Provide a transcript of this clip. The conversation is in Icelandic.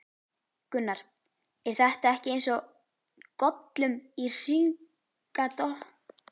Gunnar: Er þetta ekki eins og Gollum í Hringadróttinssögu?